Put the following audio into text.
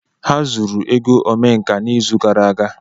Ha zuru ego Omenka n'izu gara aga.